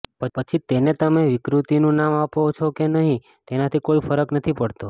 પછી તેને તમે વિકૃતિનું નામ આપો છે કે નહીં તેનાથી કોઈ ફરક નથી પડતો